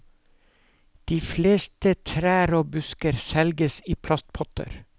De fleste trær og busker selges i plastpotter.